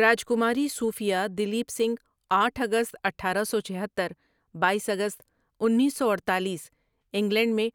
راجکماری Sophia Duleep Singh آٹھ اگست اٹھارہ سو چھہتر بایس اگست انیس سو اڈتالیس انگلینڈ میں